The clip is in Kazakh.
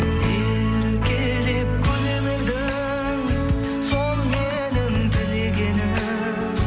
еркелеп күле бердің сол менің тілегенім